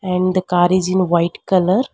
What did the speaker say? and the car is in white colour.